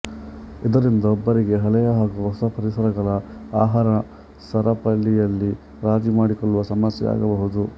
ಇದರಿಂದ ಒಬ್ಬರಿಗೆ ಹಳೆಯ ಹಾಗೂ ಹೊಸ ಪರಿಸರಗಳ ಆಹಾರ ಸರಪಳಿಯಲ್ಲಿ ರಾಜಿ ಮಾಡಿಕೊಳ್ಳುವ ಸಮಸ್ಯೆ ಆಗಬಹುದು